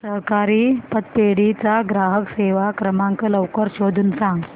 सहकारी पतपेढी चा ग्राहक सेवा क्रमांक लवकर शोधून सांग